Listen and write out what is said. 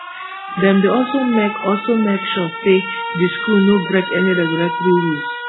dem dey also make also make sure say di school no break any regulatory rules